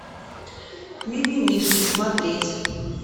мимимишки смотреть